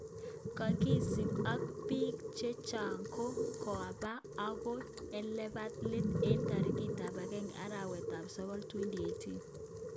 Kakisip ak pik chechok ko kapa ogon elepa let en tarik ap 1 arawet ap sogol 2018.